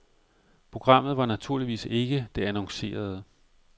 Programmet var naturligvis ikke det annoncerede.